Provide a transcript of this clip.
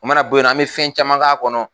O mana b'o yen an be fɛn caman k'a kɔnɔ.